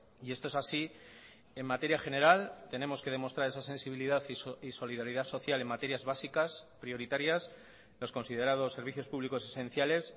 y esto es así en materia general tenemos que demostrar esa sensibilidad y solidaridad social en materias básicas prioritarias los considerados servicios públicos esenciales